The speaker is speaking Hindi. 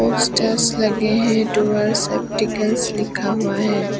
स्टेयर्स लगे हैं डूअर्स ऑप्टिकल्स लिखा हुआ है।